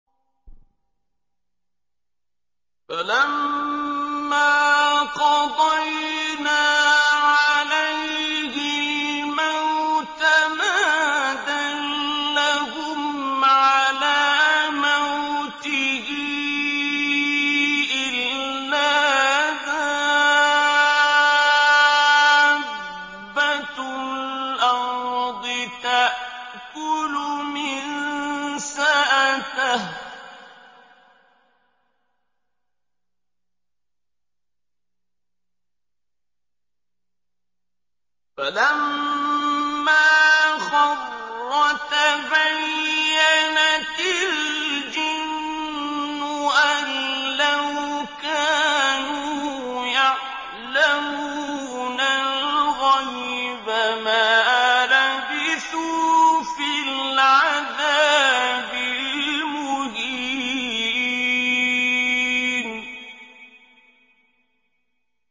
فَلَمَّا قَضَيْنَا عَلَيْهِ الْمَوْتَ مَا دَلَّهُمْ عَلَىٰ مَوْتِهِ إِلَّا دَابَّةُ الْأَرْضِ تَأْكُلُ مِنسَأَتَهُ ۖ فَلَمَّا خَرَّ تَبَيَّنَتِ الْجِنُّ أَن لَّوْ كَانُوا يَعْلَمُونَ الْغَيْبَ مَا لَبِثُوا فِي الْعَذَابِ الْمُهِينِ